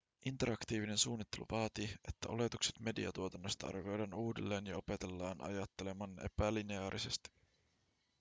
interaktiivinen suunnittelu vaatii että oletukset mediatuotannosta arvioidaan uudelleen ja opetellaan ajattelemaan epälineaarisesti